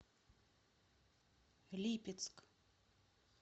липецк